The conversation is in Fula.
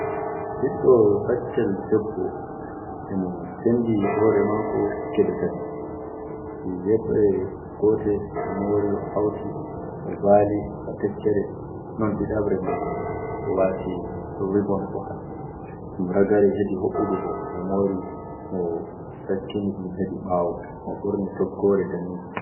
Ɓiddo baccel debbo e mo senndi hoore maako geɓe tati, yeɓre gote o moori o hawti o baali ba tekkere. Non ɗiɗabre man fu o waati "ribon" o haɓɓi ɗum ragare heedi hoɓɓudu bo, mo moori mo sakkini ɗum heedi ɓaawo mo ɓorni toggoore daneejo.